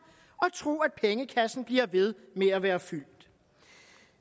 og tro at pengekassen bliver ved med at være fyldt